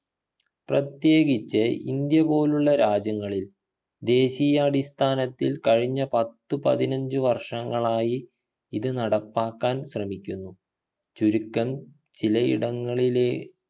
പ്രത്യേകിച്ചു ഇന്ത്യ പോലുള്ള രാജ്യങ്ങളിൽ ദേശീയാടിസ്ഥാനത്തിൽ കഴിഞ്ഞ പത്തുപതിനഞ്ചു വർങ്ങളായി ഇത് നടപ്പാക്കാൻ ശ്രമിക്കുന്നു ചുരുക്കം ചിലയിടങ്ങളിലേ